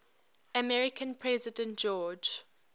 american president george